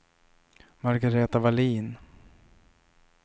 Margaretha Wallin